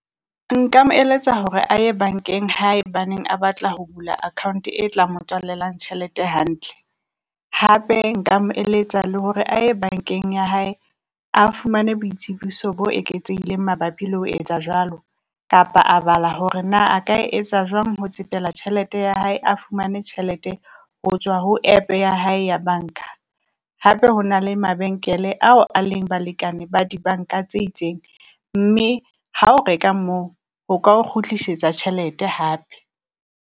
Nka mo eletsa hore a ye bankeng haebaneng a batla ho bula Account e tla mo tswalelang tjhelete hantle. Hape Nka mo eletsa le hore a ye bankeng ya hae a fumane boitsebiso bo eketsehileng mabapi le ho etsa jwalo, kapa a bala hore na a ka etsa jwang ho tsetela tjhelete ya hae a fumane tjhelete ho tswa ho app ya hae ya banka. Hape ho na le mabenkele ao a leng balekane ba dibanka tse itseng, mme ha o reka moo ho ka o kgutlisetsa tjhelete hape.